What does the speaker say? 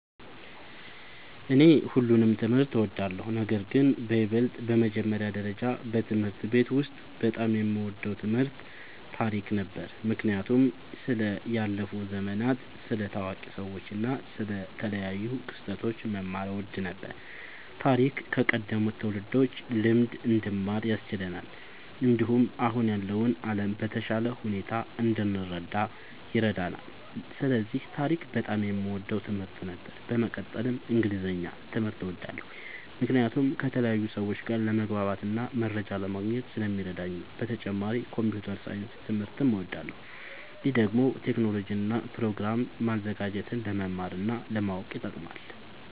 እኔ ሁሉንም ትምህርት እወዳለሁ፤ ነገርግን በይበልጥ በመጀመሪያ ደረጃ በትምህርት ቤት ውስጥ በጣም የምወደው ትምህርት ታሪክ ነበር። ምክንያቱም ስለ ያለፉ ዘመናት፣ ስለ ታዋቂ ሰዎች እና ስለ ተለያዩ ክስተቶች መማር እወድ ነበር። ታሪክ ከቀደሙት ትውልዶች ልምድ እንድንማር ያስችለናል፣ እንዲሁም አሁን ያለውን ዓለም በተሻለ ሁኔታ እንድንረዳ ይረዳናል። ስለዚህ ታሪክ በጣም የምወደው ትምህርት ነበር። በመቀጠልም እንግሊዝኛ ትምህርት እወዳለሁ ምክንያቱም ከተለያዩ ሰዎች ጋር ለመግባባትና መረጃ ለማግኘት ስለሚረዳኝ ነዉ። በተጨማሪም ኮምፒዉተር ሳይንስ ትምህርትም እወዳለሁ። ይህ ደግሞ ቴክኖሎጂን እና ፕሮግራም ማዘጋጀትን ለመማር እና ለማወቅ ይጠቅማል።